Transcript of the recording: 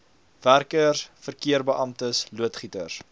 werkers verkeerbeamptes loodgieters